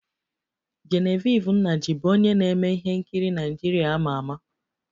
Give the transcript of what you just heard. Genevieve Nnaji bụ onye na-eme ihe nkiri Naịjirịa a ma ama